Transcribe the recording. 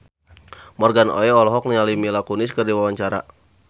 Morgan Oey olohok ningali Mila Kunis keur diwawancara